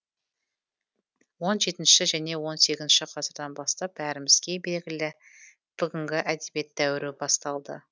он жетінші және он сегізінші ғасырдан бастап бәрімізге белгілі бүгінгі әдебиет дәуірі басталды